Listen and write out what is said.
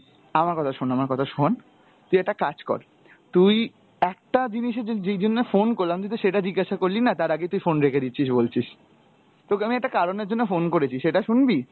আমার কথা শোন আমার কথা শোন, তুই একটা কাজ কর, তুই একটা জিনিসে যে~ যেই জন্য phone করলাম তুই তো সেটা জিজ্ঞাসা করলি না, তার আগে তুই phone রেখে দিচ্ছিস বলছিস, তোকে আমি একটা কারণের জন্য phone করেছি, সেটা শুনবি?